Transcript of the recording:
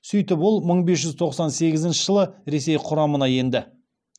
сөйтіп ол мың бес жүз тоқсан сегізінші жылы ресей құрамына енді